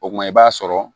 O kuma i b'a sɔrɔ